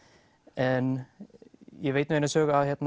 en ég veit nú eina sögu af